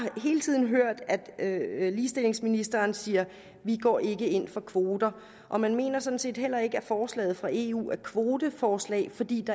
hele tiden hørt at ligestillingsministeren siger vi går ikke ind for kvoter og man mener sådan set heller ikke at forslaget fra eu er et kvoteforslag fordi det